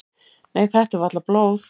"""Nei, þetta er varla blóð."""